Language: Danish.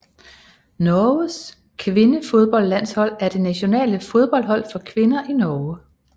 Norges kvindefodboldlandshold er det nationale fodboldhold for kvinder i Norge